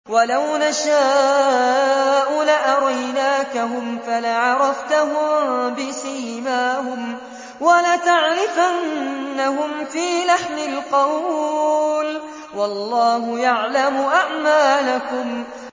وَلَوْ نَشَاءُ لَأَرَيْنَاكَهُمْ فَلَعَرَفْتَهُم بِسِيمَاهُمْ ۚ وَلَتَعْرِفَنَّهُمْ فِي لَحْنِ الْقَوْلِ ۚ وَاللَّهُ يَعْلَمُ أَعْمَالَكُمْ